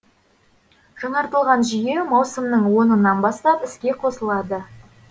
жаңартылған жүйе маусымның онынан бастап іске қосылады